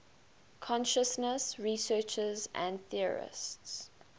consciousness researchers and theorists